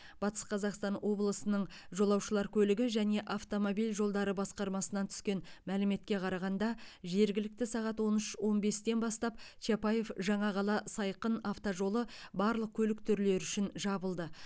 батыс қазақстан облысының жолаушылар көлігі және автомобиль жолдары басқармасынан түскен мәліметке қарағанда жергілікті сағат он үш он бестен бастап чапаев жаңақала сайқын автожолы барлық көлік түрлері үшін жабылды